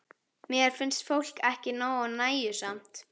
Mér finnst fólk ekki nógu nægjusamt.